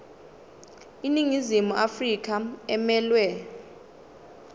iningizimu afrika emelwe